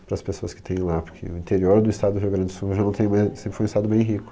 Para as pessoas que têm lá, porque o interior do estado do Rio Grande do Sul já não tem mais, sempre foi um estado bem rico.